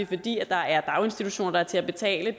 fordi der er daginstitutioner der er til at betale